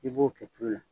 I b'o kɛ cogo la